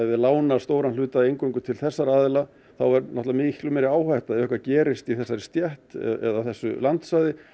lána stóra hluta eingöngu til þessara aðila þá er miklu meiri áhætta ef eitthvað gerist í þessari stétt eða á þessu landsvæði